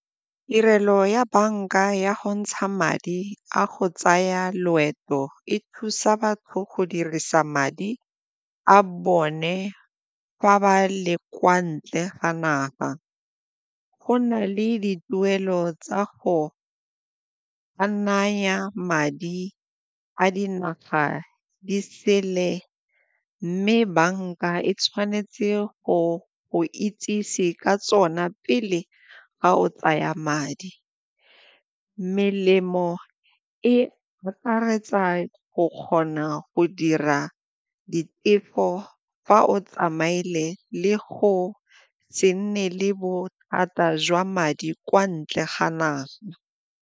Tirelo ya banka ya go ntsha madi a go tsaya loeto e thusa batho go dirisa madi a bone fa ba le kwa ntle ga naga. Go na le dituelo tsa go ka naya madi a dinaga di sele mme banka e tshwanetse go go itsise ka tsona pele ga o tsaya madi. Melemo e akaretsa go kgona go dira ditefo fa o tsamaile le go se nne le bothata jwa madi kwa ntle ga naga.